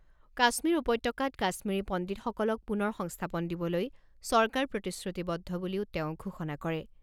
কাশ্মীৰ উপত্যকাত কাশ্মীৰী পণ্ডিতসকলক পুনৰ সংস্থাপন দিবলৈ চৰকাৰ প্ৰতিশ্ৰুতিবদ্ধ বুলিও তেওঁ ঘোষণা কৰে।